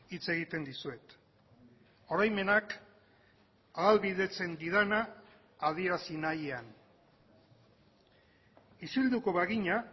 hitz egiten dizuet oroimenak ahalbidetzen didana adierazi nahian isilduko bagina